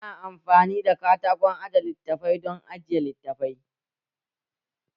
Ana amfani da katakon aje littafai don ajiyan littafai